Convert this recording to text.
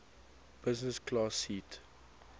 business class seat